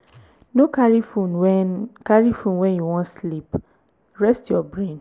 no carry phone when carry phone when you wan sleep rest your brain